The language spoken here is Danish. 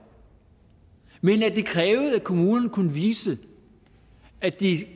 men at det krævede at kommunerne kunne vise at de